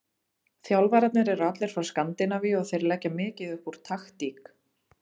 Þjálfararnir eru allir frá Skandinavíu og þeir leggja mikið upp úr taktík.